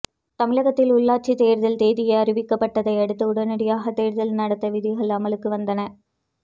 தமிழகத்தில் உள்ளாட்சித் தேர்தல் தேதி அறிவிக்கப்பட்டதை அடுத்த உடனடியாக தேர்தல் நடத்தை விதிகள் அமலுக்கு வந்தன